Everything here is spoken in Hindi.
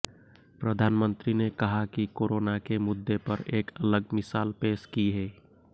प्रधानमंत्री ने कहा कि कोरोना के मुद्दे पर एक अलग मिसाल पेश की है